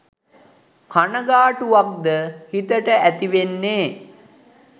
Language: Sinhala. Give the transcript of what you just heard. කනගා‍ටුවක්ද හිතට ඇතිවෙන්නෙ.